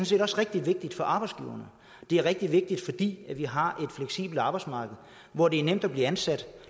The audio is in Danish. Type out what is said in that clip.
set også rigtig vigtigt for arbejdsgiveren det er rigtig vigtigt fordi vi har et fleksibelt arbejdsmarked hvor det er nemt at blive ansat